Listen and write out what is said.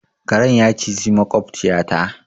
Karen ya cizi maƙwabciyata.